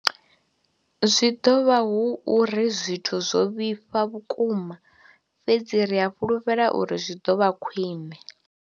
Zwi ḓo vha hu uri zwithu zwo vhifha vhukuma, fhedzi ri a fhulufhela uri zwi ḓo vha khwiṋe.